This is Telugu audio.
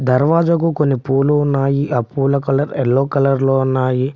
దర్వాజకు కొన్ని పూలు ఉన్నాయి అ పూల కలర్ ఎల్లో కలర్ లో ఉన్నాయి.